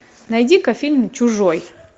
найди ка фильм чужой